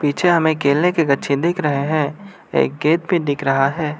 पीछे हमें केले के गच्छे दिख रहे हैं एक गेट भी दिख रहा है।